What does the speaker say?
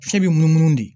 Fiɲɛ bɛ munumunu de